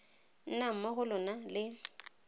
nnang mo go lona le